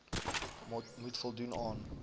moet voldoen aan